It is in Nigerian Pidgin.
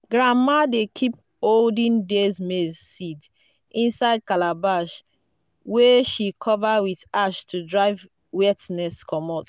Retrieving data. Wait a few seconds and try to cut or copy again.